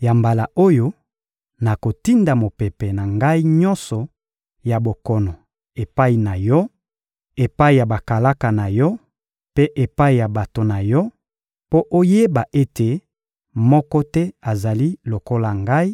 Ya mbala oyo, nakotinda mopepe na Ngai nyonso ya bokono epai na yo, epai ya bakalaka na yo mpe epai ya bato na yo, mpo oyeba ete moko te azali lokola Ngai,